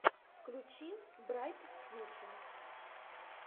включи брайт фьюче